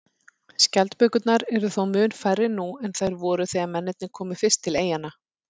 Skjaldbökurnar eru þó mun færri nú en þær voru þegar mennirnir komu fyrst til eyjanna.